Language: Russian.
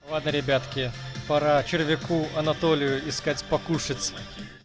ладно ребятки пора через реку анатолию искать покушать